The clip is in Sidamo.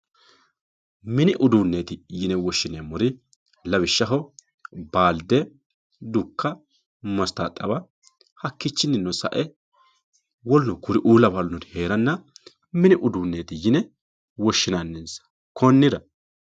mini udueeti yine woshshineemmori lawishshaho baalde dukka mastaaxaba hakkiichinino sae woluno kuriuu lawannori heeranna mini uduunneti yine woshshinannisa konnira